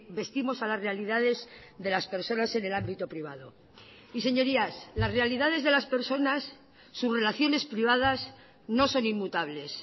vestimos a las realidades de las personas en el ámbito privado y señorías las realidades de las personas sus relaciones privadas no son inmutables